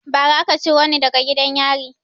Ba ra aka ciro ni daga gidan yari